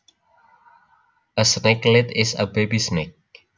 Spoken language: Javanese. A snakelet is a baby snake